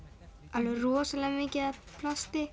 alveg rosalega mikið af plasti